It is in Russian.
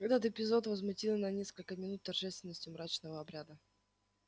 этот эпизод возмутил на несколько минут торжественность мрачного обряда